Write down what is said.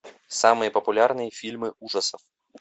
самые популярные фильмы ужасов